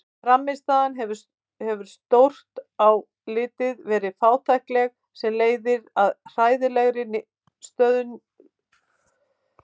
Frammistaðan hefur stórt á litið verið fátækleg sem leiðir að hræðilegri stöðu á heimslistanum.